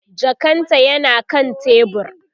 jakan ta yana kan tebur